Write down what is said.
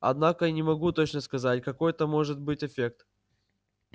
однако не могу точно сказать какой это может быть эффект